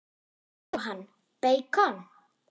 Jóhann: Beikon?